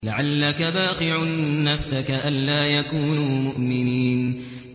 لَعَلَّكَ بَاخِعٌ نَّفْسَكَ أَلَّا يَكُونُوا مُؤْمِنِينَ